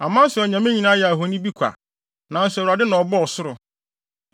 Aman so anyame nyinaa yɛ ahoni bi kwa, nanso Awurade na ɔbɔɔ ɔsoro!